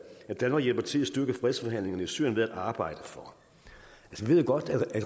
at danmark hjælper til at styrke fredsforhandlingerne i syrien ved at arbejde for vi ved godt at